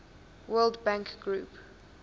world bank group